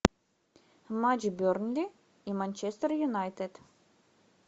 матч бернли и манчестер юнайтед